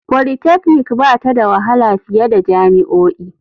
Polytechnic ba ta da wahala fiye da jami'o'i.